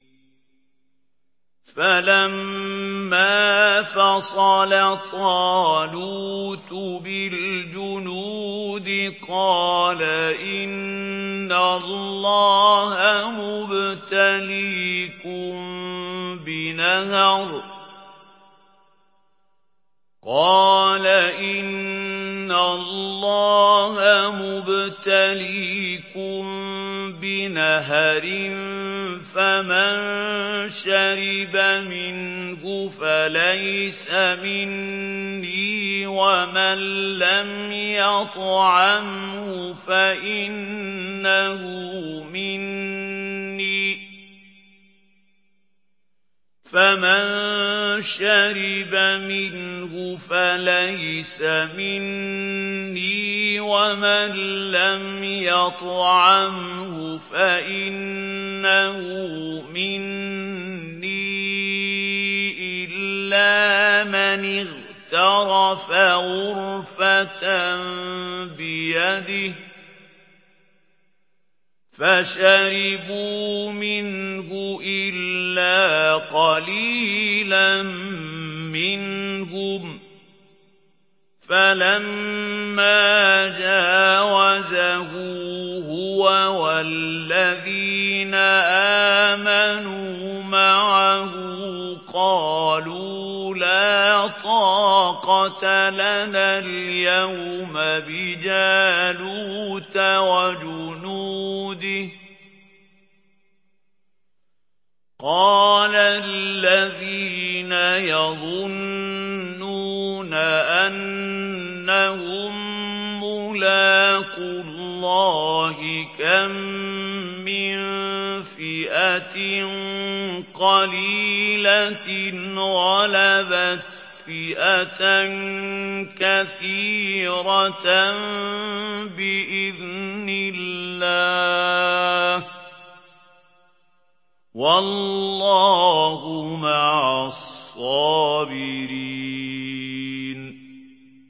فَلَمَّا فَصَلَ طَالُوتُ بِالْجُنُودِ قَالَ إِنَّ اللَّهَ مُبْتَلِيكُم بِنَهَرٍ فَمَن شَرِبَ مِنْهُ فَلَيْسَ مِنِّي وَمَن لَّمْ يَطْعَمْهُ فَإِنَّهُ مِنِّي إِلَّا مَنِ اغْتَرَفَ غُرْفَةً بِيَدِهِ ۚ فَشَرِبُوا مِنْهُ إِلَّا قَلِيلًا مِّنْهُمْ ۚ فَلَمَّا جَاوَزَهُ هُوَ وَالَّذِينَ آمَنُوا مَعَهُ قَالُوا لَا طَاقَةَ لَنَا الْيَوْمَ بِجَالُوتَ وَجُنُودِهِ ۚ قَالَ الَّذِينَ يَظُنُّونَ أَنَّهُم مُّلَاقُو اللَّهِ كَم مِّن فِئَةٍ قَلِيلَةٍ غَلَبَتْ فِئَةً كَثِيرَةً بِإِذْنِ اللَّهِ ۗ وَاللَّهُ مَعَ الصَّابِرِينَ